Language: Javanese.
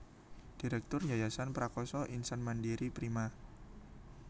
Direktur Yayasan Prakasa Insan Mandiri Prima